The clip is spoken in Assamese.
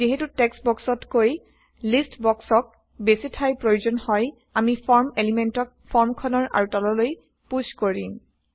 যিহেতু টেক্সট বক্সতকৈ লিষ্ট বক্সক বেছি ঠাইৰ প্ৰয়োজন হয় আমি ফৰ্ম এলিমেন্টক ফৰ্ম খনৰ আৰু তললৈ পুশ্ব কৰিম